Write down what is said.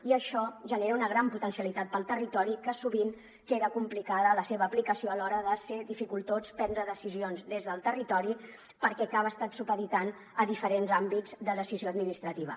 i això genera una gran potencialitat per al territori que sovint queda complicada la seva aplicació a l’hora de ser dificultós prendre decisions des del territori perquè acaba estant supeditat a diferents àmbits de decisió administrativa